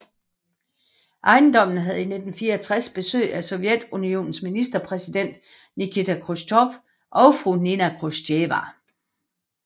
Ejendommen havde i 1964 besøg af Sovjetunionens ministerpræsident Nikita Khrusjtjov og fru Nina Khrusjtjeva